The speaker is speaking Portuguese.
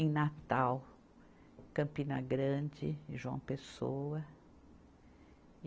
Em Natal, Campina Grande e João Pessoa.